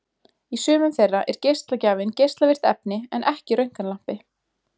Í sumum þeirra er geislagjafinn geislavirkt efni en ekki röntgenlampi.